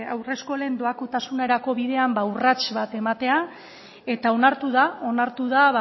haurreskolen doakotasunerako bidean ba urrats bat ematea eta onartu da onartu da